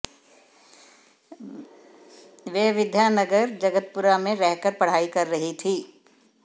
वह विधानगर जगतपुरा में रहकर पढ़ाई कर रही थी